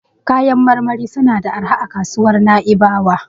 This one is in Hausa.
Kayan marmari suna da arha a kasuwar Na'ibawa.